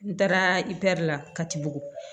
N taara i la katibugu